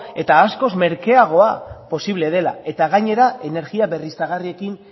eta askoz merkeagoa posible dela eta gainera energia berriztagarriekin